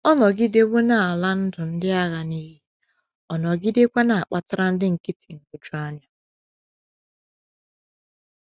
Ọ nọgidewo na - ala ndụ ndị agha n’iyi, nọgidekwa na - akpatara ndị nkịtị nhụjuanya.